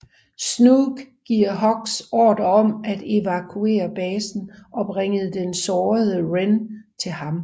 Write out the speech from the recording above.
Snoke giver Hux ordre om at evakuere basen og bringe den sårede Ren til ham